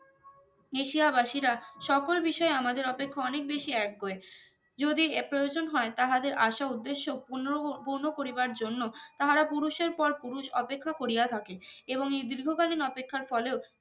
নিশিয়া বাসিরা সকল বিষয়ে আমাদের অপেক্ষা অনেক বেশি একগুঁয়ে যদি এ প্রয়োজন হয় তাহা দের আশা উদ্দেশ্য পুর্নরহ পুর্নো করিবার জন্য তাহারা পুরুষের পর পুরুষ অপেক্ষা করিয়া থাকে এবং এই দীর্ঘ কালিন অপেক্ষার ফলেও